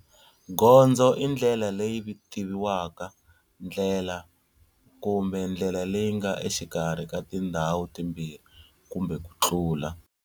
Gondzo i ndlela leyi tiviwaka, ndlela kumbe ndlela leyi nga exikarhi ka tindhawu timbirhi kumbe ku tlula.